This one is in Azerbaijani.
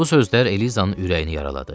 Bu sözlər Elizanın ürəyini yaraladı.